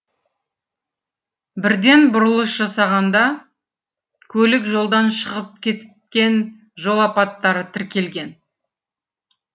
бірден бұрылыс жасағанда көлік жолдан шығып кеткен жол апаттары тіркелген